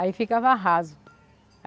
Aí ficava raso.